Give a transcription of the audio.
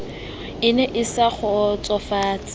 e ne e sa kgotsofatse